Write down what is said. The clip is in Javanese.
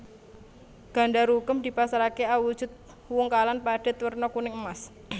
Gandarukem dipasaraké awujudu wungkalan padhet werna kuning emas